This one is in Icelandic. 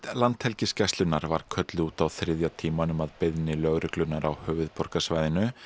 Landhelgisgæslunnar var kölluð út á þriðja tímanum að beiðni lögreglunnar á höfuðborgarsvæðinu